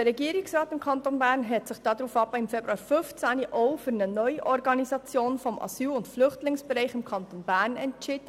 Der Regierungsrat des Kantons Bern hat sich darauf im Februar 2015 ebenfalls für eine Neuorganisation des Asyl- und Flüchtlingsbereichs im Kanton Bern entschieden.